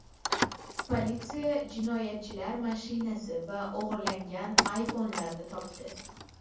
Politsiya jinoyatchilar mashinasi va o‘g‘irlangan iPhone’larni topdi.